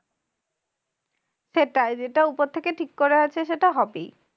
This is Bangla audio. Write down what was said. সেটাই যেটা উপর থেকে ঠিক করা আছে সেটা হবেই।